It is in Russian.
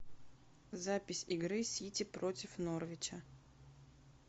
запись игры сити против норвича